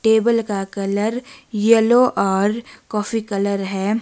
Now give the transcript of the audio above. Table का colour yellow और coffee colour है।